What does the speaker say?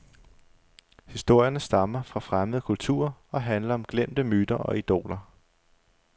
Historierne stammer fra fremmede kulturer og handler om glemte myter og idoler.